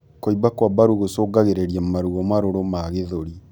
Kuimba kwa mbaru gucungagirirĩa maruo marũrũ ma gĩthũri